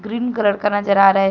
Green colour का नजर आ रहा है।